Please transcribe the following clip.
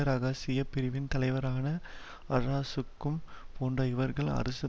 இரகசிய பிரிவின் தலைவரான அற்ராசுக்குன் போன்ற இவர்கள் அரசின்